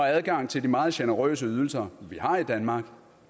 adgang til de meget generøse ydelser vi har i danmark